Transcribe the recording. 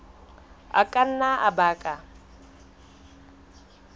a ka nna a baka